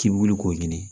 K'i wuli k'o ɲini